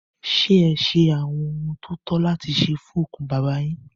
Ṣé ẹ ṣe àwọn ohun tó tọ́ láti ṣe fún òkú bàbá yín?